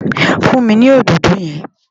Fún mi ní òdòdó yẹn!